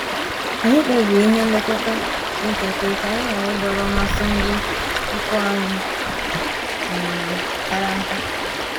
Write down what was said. Anyị kpebiri ihe nlekọta dị ntakịrị ka anyị ghara idọrọ mmasị ndị ikwu anyị um kara nka